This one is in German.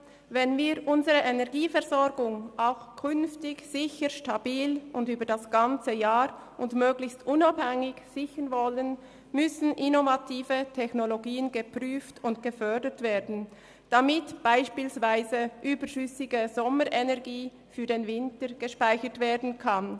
Wenn wir unsere Energieversorgung auch künftig sicher, stabil, übers ganze Jahr und möglichst unabhängig sichern wollen, müssen innovative Technologien geprüft und gefördert werden, damit beispielsweise überschüssige Sommerenergie für den Winter gespeichert werden kann.